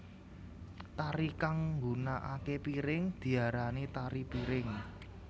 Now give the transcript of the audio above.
Tari kang nggunakaké piring diarani tari piring